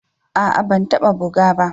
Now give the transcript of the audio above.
A'a ban taba buga ba.